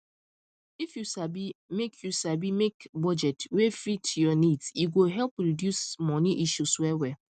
if you sabi make you sabi make budget wey fit your needs e go help reduce money issues well well